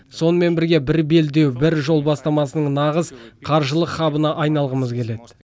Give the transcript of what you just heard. сонымен бірге бір белдеу бір жол бастамасының нағыз қаржылық хабына айналғымыз келеді